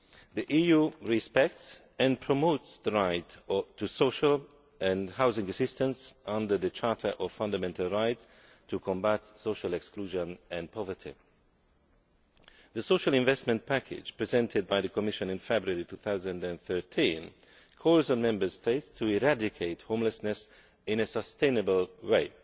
The EU respects and promotes the right to social and housing assistance under the Charter of Fundamental Rights to combat social exclusion and poverty. The Social Investment Package presented by the Commission in February 2013 calls on the Member States to eradicate homelessness in a sustainable way